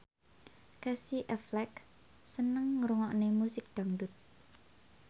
Casey Affleck seneng ngrungokne musik dangdut